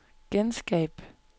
genskab